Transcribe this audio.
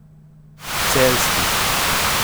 Celjski.